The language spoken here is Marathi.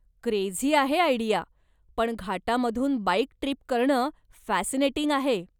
क्रेझी आहे आयडिया, पण घाटामधुन बाईक ट्रीप करणं फॅसिनेटिंग आहे.